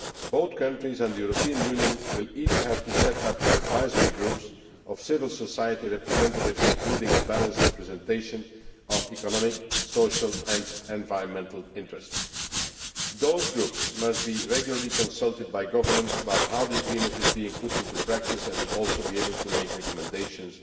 Both countries and the European Union will have to set up advisory groups of civil society representatives, including a balanced representation of economic, social and environmental interests. Those groups must be regularly consulted by governments about how the agreement is being put into practice, and they will also be able to make recommendations